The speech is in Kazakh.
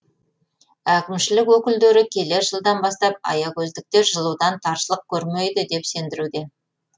әкімшілік өкілдері келер жылдан бастап аягөздіктер жылудан таршылық көрмейді деп сендіруде